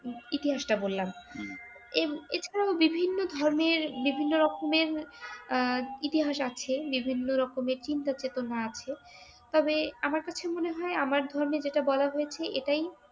ইতিহাস তা বললাম এই এছাড়াও বিভিন্ন ধর্মের বিভিন্ন রকমের আহ ইতিহাস আছে বিভিন্ন রকমের চিন্তা চেতনা আছে । তবে আমার কাছে মনে হয় আমার ধর্মের যে টা বলা হয়েছে এটাই